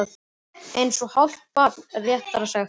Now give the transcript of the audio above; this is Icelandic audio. Eitt og hálft barn, réttara sagt.